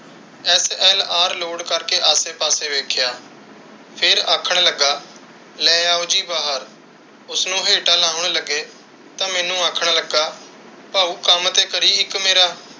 SLR ਲੋਡ ਕਰ ਕੇ ਆਸੇ ਪਾਸੇ ਵੇਖਿਆ। ਫਿਰ ਆਖਣ ਲੱਗਾ ਲੈ ਆਓ ਜੀ ਬਾਹਰ। ਉਸ ਨੂੰ ਹੇਠਾਂ ਲਾਉਣ ਲੱਗੇ ਤਾਂ ਮੈਨੂੰ ਆਖਣ ਲੱਗਾ, ਭਾਊ ਕੱਮ ਤੇ ਕਰੀਂ ਇੱਕ ਮੇਰਾ।